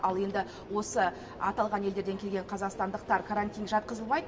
ал енді осы аталған елдерден келген қазақстандықтар карантинге жатқызылмайды